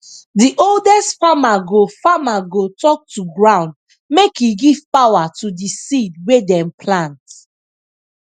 the oldest farmer go farmer go talk to ground make e give power to the seed wey dem plant